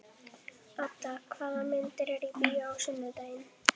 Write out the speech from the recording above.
Ada, hvaða myndir eru í bíó á sunnudaginn?